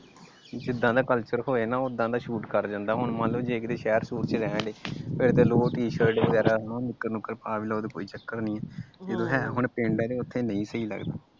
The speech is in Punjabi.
ਜਿੱਦਾਂ ਦਾ ਕੱਲਚਰ ਹੋਏ ਹਣਾ ਉਹਦਾ ਦਾ ਸੂਟ ਕਰ ਜਾਂਦਾ ਹੁਣ ਮਾਨਲੋ ਜਿੰਦਾ ਸ਼ਹਿਰ ਚ ਰਹਿਣ ਦੇ ਫਿਰ ਤੇ ਲੋਵਰ ਟੀ ਸ਼ਿਰਟ ਵਗੈਰਾ ਨਿੱਕਰ ਨੁੱਕਰ ਪਾ ਵੀ ਲਵੋ ਕੋਈ ਚੱਕਰ ਨੀ ਆ ਜਦੋਂ ਹੈ ਹੁਣ ਪਿੰਡ ਆ ਉੱਥੇ ਨਹੀਂ ਸਹੀ ਲੱਗਦਾ।